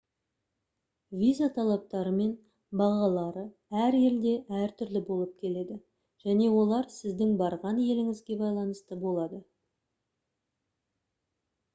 виза талаптары мен бағалары әр елде әр түрлі болып келеді және олар сіздің барған еліңізге байланысты болады